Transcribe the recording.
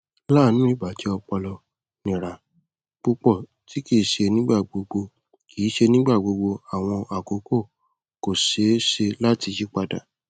laanu ibajẹ ọpọlọ nira pupọ ti kii ṣe nigbagbogbo kii ṣe nigbagbogbo awọn akoko ko ṣee ṣe lati yiyipada